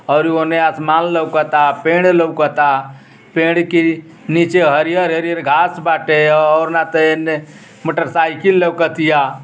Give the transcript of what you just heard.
और ओने आसमान लउकता। पेड़ लउकता। पेड़ की नीचे हरियर-हरियर घाँस बाटे आउर ना त एने मोटरसाईकिल लउकतिया।